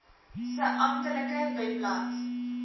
se amptelike webblad